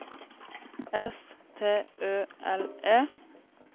S T Ø L E